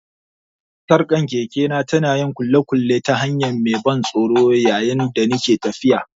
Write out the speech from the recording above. Sarkar kekena ta na yin ƙulle-ƙulle ta hanya mai ban tsoro yayin da nake tafiya.